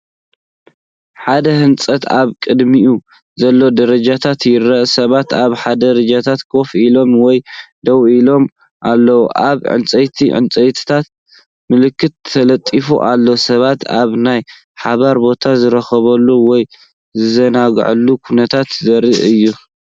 ሓደ ህንጻን ኣብ ቅድሚኡ ዘሎ ደረጃታትን ይርአ። ሰባት ኣብ ደረጃታት ኮፍ ኢሎም ወይ ደው ኢሎም ኣለዉ። ኣብ ዕንጨይቲ ዕንጨይቲ ምልክታ ተለጢፉ ኣሎ። ሰባት ኣብ ናይ ሓባር ቦታ ዝራኸብሉ ወይ ዝዘናግዑሉ ኩነታት ዘርኢ እዩ።